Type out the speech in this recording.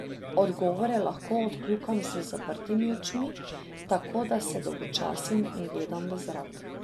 Odgovore lahko odkljukam z zaprtimi očmi, tako da se dolgočasim in gledam v zrak.